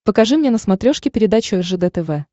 покажи мне на смотрешке передачу ржд тв